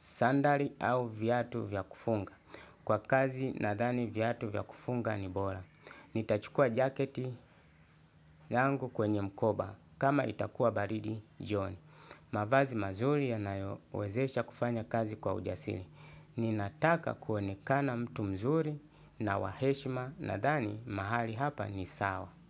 Sandali au vyatu vyakufunga. Kwa kazi nadhani viatu vya kufunga ni bora. Nitachukua jaketi yangu kwenye mkoba kama itakuwa baridi jioni. Mavazi mazuri yanayowezesha kufanya kazi kwa ujasiri. Ninataka kuonekana mtu mzuri na waheshima nadhani mahali hapa ni sawa.